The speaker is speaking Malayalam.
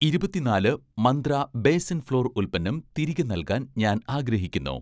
ഇരുപത്തി നാല് മന്ത്ര ബേസൻ ഫ്ലോർ ഉൽപ്പന്നം തിരികെ നൽകാൻ ഞാൻ ആഗ്രഹിക്കുന്നു